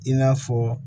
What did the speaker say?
I n'a fɔ